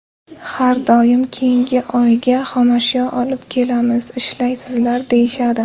Har doim keyingi oyga xomashyo olib kelamiz, ishlaysizlar, deyishadi.